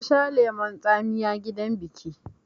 Na sha lemon tsamiya a gidan biƙi